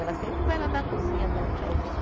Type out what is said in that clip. Ela sempre vai lá na cozinha dar um tchauzinho.